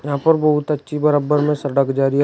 यहां पर बहुत अच्छी बराबर में सड़क जा रही है और--